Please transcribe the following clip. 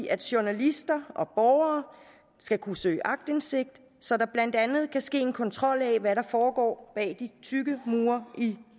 at journalister og borgere skal kunne søge aktindsigt så der blandt andet kan ske en kontrol af hvad der foregår bag de tykke mure i